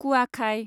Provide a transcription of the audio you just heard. कुवाखाय